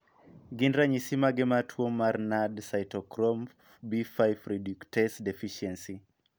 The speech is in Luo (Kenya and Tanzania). Gin ranyisi mage mar tuo mar NADH cytochrome B5 reductase deficiency?